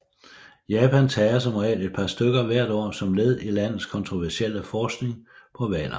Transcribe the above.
Japan tager som regel et par stykker hvert år som led i landets kontroversielle forskning på hvaler